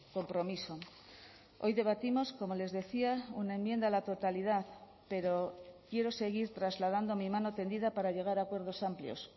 compromiso hoy debatimos como les decía una enmienda a la totalidad pero quiero seguir trasladando mi mano tendida para llegar a acuerdos amplios